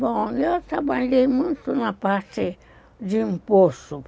Bom, eu trabalhei muito na parte de imposto.